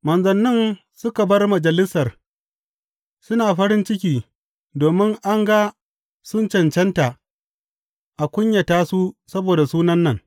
Manzannin suka bar Majalisar, suna farin ciki domin an ga sun cancanta a kunyata su saboda Sunan nan.